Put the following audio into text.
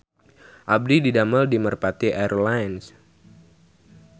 Abdi didamel di Merpati Air Lines